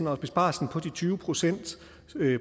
og besparelsen på de tyve procent